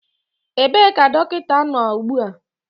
Ebee ka dọkịta nọ ugbu a?